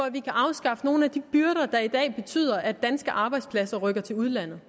at vi kan afskaffe nogle af de byrder der i dag betyder at danske arbejdspladser rykker til udlandet